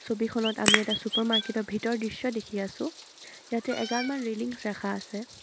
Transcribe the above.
ছবিখনত আমি এটা ছুপাৰ মাৰ্কেটৰ ভিতৰৰ দৃশ্য দেখি আছোঁ ইয়াতে এগালমান ৰেলিংছ ৰাখা আছে।